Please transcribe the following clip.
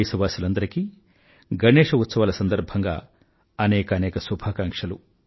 దేశవాసులందరికీ గణేశ ఉత్సవాల సందర్భంగా అనేకానేక శుభాకాంక్షలు